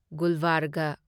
ꯒꯨꯜꯕꯔꯒ